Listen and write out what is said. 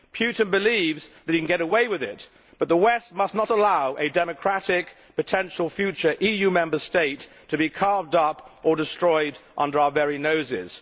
Putin believes that he can get away with it, but the West must not allow a democratic potential future EU Member State to be carved up or destroyed under our very noses.